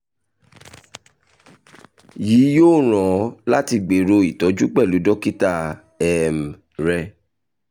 yii yoo ran ọ lati gbero itọju pẹlu dokita um rẹ